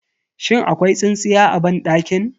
Shin akwai tsintsiya a banɗakin?